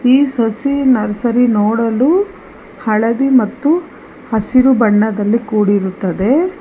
ಈ ಸಸಿ ನರ್ಸರಿ ನೋಡಲು ಹಳದಿ ಮತ್ತು ಹಸಿರು ಬಣ್ಣದಲ್ಲಿ ಕೂಡಿರುತ್ತದೆ.